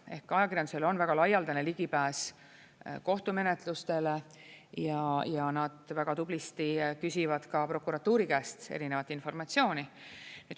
Ehk ajakirjandusel on väga laialdane ligipääs kohtumenetlustele ja nad väga tublisti küsivad ka prokuratuuri käest erinevat informatsiooni.